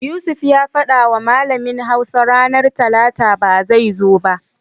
Yusuf ya fadawa malamin Hausa ranar Talata ba zai zo ba.